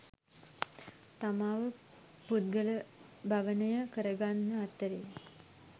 තමාව පුද්ගලභවනය කරගන්න අතරෙ